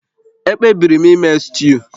Ekpebiri m ime stuu